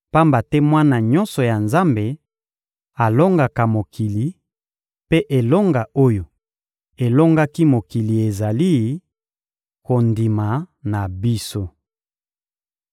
pamba te mwana nyonso ya Nzambe alongaka mokili, mpe elonga oyo elongaki mokili ezali: kondima na biso.